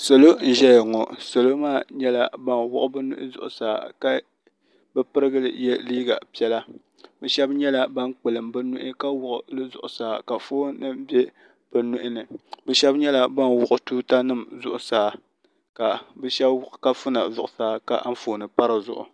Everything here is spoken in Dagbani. Salo n zɛya ŋɔ salo maa nyɛla bani wuɣi bi nihi zuɣisaa ka bi pirigili ye liiga piɛla ni shɛba nyɛla bani kpulim bi nuhi ka wuɣili zuɣusaa ka foon nima bɛ bi nuhi ni bi shɛba nyɛla ban wuɣi tuuta nima zuɣusaa ka bi shɛba wuɣi kafuna zuɣusaa ka anfooni pa di zuɣu.